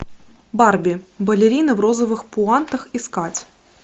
барби балерина в розовых пуантах искать